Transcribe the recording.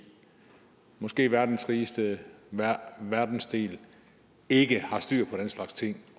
måske verdens rigeste verdensdel ikke har styr på den slags ting